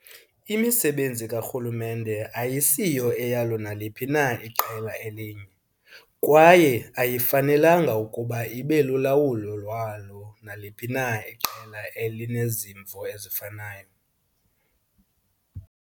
Imisebenzi karhulumente ayisiyo eyalo naliphi na iqela elinye, kwaye ayifanelanga ukuba ibe lulawulo lwalo naliphi na iqela elinezimvo ezifanayo.